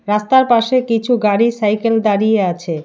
রাস্তার পাশে কিছু গাড়ি সাইকেল দাঁড়িয়ে আছে।